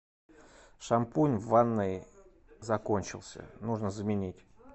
шампунь в ванной закончился нужно заменить